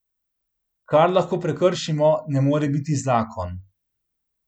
Kar lahko prekršimo, ne more biti zakon.